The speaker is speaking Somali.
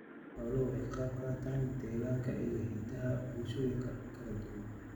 Xooluhu waxay ka qaybqaataan dhaqanka iyo hiddaha bulshooyinka kala duwan.